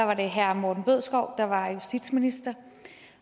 var det herre morten bødskov der var justitsminister